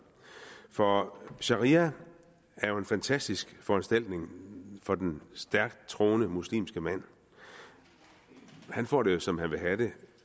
for sharia er jo en fantastisk foranstaltning for den stærkt troende muslimske mand han får det jo som han vil have det